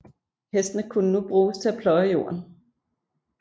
Hestene kunne nu bruges til at pløje jorden